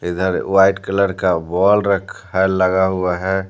इधर white colour का ball रखा है लगा हुआ है।